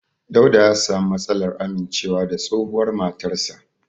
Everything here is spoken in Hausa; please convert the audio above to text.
Dauda ya sami matsalar amincewa da tsohuwar matarsa.